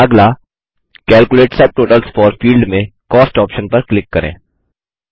अगला calculate subtotals for field में cost option पर क्लिक करें